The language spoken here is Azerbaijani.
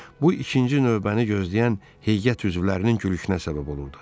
Bu ikinci növbəni gözləyən heyət üzvlərinin gülüşünə səbəb olurdu.